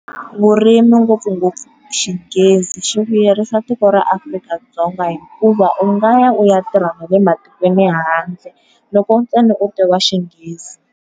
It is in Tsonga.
Vurimi ngopfungopfu xinghezi xi vuyerisa tiko ra Afrika-Dzonga hikuva u nga ya u ya tirha na le matikweni ma le handle loko ntsena u tiva xinghezi.